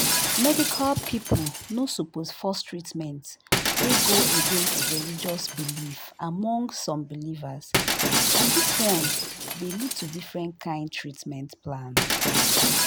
medical people no suppose force treatment wey go against religious belief among some believers and this one dey lead to different kind treatment plan